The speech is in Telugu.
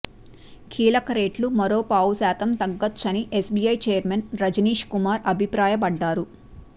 కీలక రేట్లు మరోపావు శాతం తగ్గొచ్చని ఎస్బీఐ చైర్మన్ రజనీష్ కుమార్ అభిప్రాయపడ్డారు